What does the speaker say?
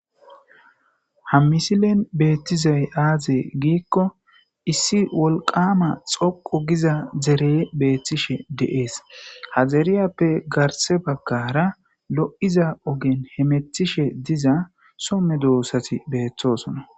ha misilen beettizay aaze giikko issi wolqama xoqo giza zereye beettishe deees ha zeriyappe garse bagkara lo7iza ogen he metishe diza somme doossati beeththosona